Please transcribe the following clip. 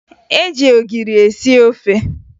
E ji ogiri esi ofe